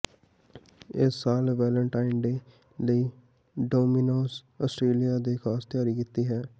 ਇਸ ਸਾਲ Valentine day ਲਈ ਡੋਮਿਨੋਜ਼ ਆਸਟ੍ਰੇਲੀਆ ਨੇ ਖਾਸ ਤਿਆਰੀ ਕੀਤੀ ਹੈ